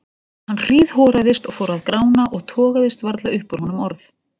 Hann hríðhoraðist og fór að grána og togaðist varla upp úr honum orð.